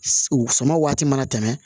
U sɔngɔ waati mana tɛmɛ